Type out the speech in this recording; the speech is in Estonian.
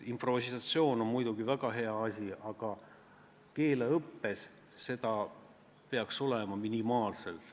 Improvisatsioon on muidugi väga hea asi, aga keeleõppes peaks seda olema minimaalselt.